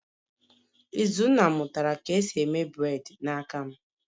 Izunna mutara ka esi eme bred n'aka m